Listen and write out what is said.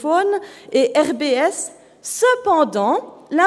Berner Rechtsberatungsstelle für Menschen in Not (RBS) ».